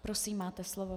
Prosím, máte slovo.